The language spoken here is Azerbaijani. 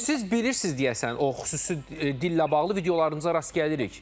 Amma siz bilirsiz deyəsən o xüsusi dillə bağlı videolarımıza rast gəlirik.